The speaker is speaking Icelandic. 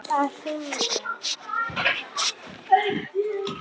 Að hring!